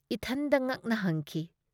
ꯏꯊꯟꯗ ꯉꯛꯅ ꯍꯪꯈꯤ ꯫